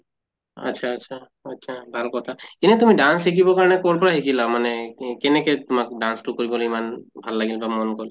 আত্চ্ছা আত্চ্ছা আত্চ্ছা , ভাল কথা। এনে তুমি dance শিকিবৰ কাৰণে কʼৰ পৰা শিকিলা মানে কে কেনেকে তোমাক dance তো কৰিবলে ইমান ভাল লাগিল বা মন গʼল?